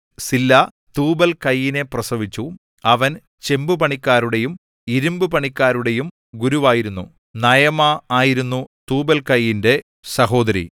സില്ലാ തൂബൽകയീനെ പ്രസവിച്ചു അവൻ ചെമ്പുപണിക്കാരുടെയും ഇരിമ്പുപണിക്കാരുടെയും ഗുരുവായിരുന്നു നയമാ ആയിരുന്നു തൂബൽകയീന്റെ സഹോദരി